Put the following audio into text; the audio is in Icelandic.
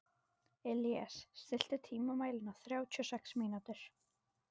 Illíes, stilltu tímamælinn á þrjátíu og sex mínútur.